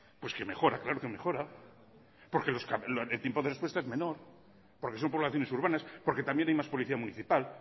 pues que mejora claro que mejora porque el tiempo de respuesta es menor porque son poblaciones urbanas porque también hay más policía municipal